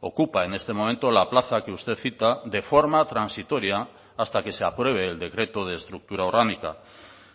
ocupa en este momento la plaza que usted cita de forma transitoria hasta que se apruebe el decreto de estructura orgánica